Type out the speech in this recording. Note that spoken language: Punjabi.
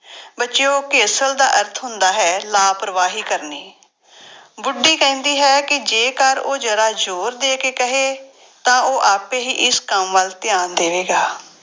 ਬੱਚਿਓ ਘੇਸਲ ਦਾ ਅਰਥ ਹੁੰਦਾ ਹੈ ਲਾਪਰਵਾਹੀ ਕਰਨੀ ਬੁੱਢੀ ਕਹਿੰਦੀ ਹੈ ਕਿ ਜੇਕਰ ਉਹ ਜ਼ਰਾ ਜ਼ੋਰ ਦੇ ਕੇ ਕਹੇ ਤਾਂ ਉਹ ਆਪੇ ਹੀ ਇਸ ਕੰਮ ਵੱਲ ਧਿਆਨ ਦੇਵੇਗਾ।